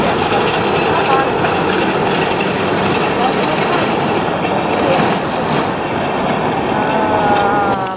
Certo, está me dando muito trabalho, porque tive que fazer muita pesquisa histórica, mas está aí, só de tempo para terminar.